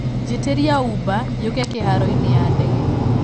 njiĩtĩria ũber yuũke kĩharoinĩ ya ndege